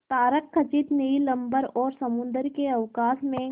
तारकखचित नील अंबर और समुद्र के अवकाश में